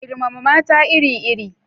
Girmama mata iri-iri